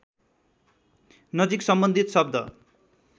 नजिक सम्बन्धित शब्द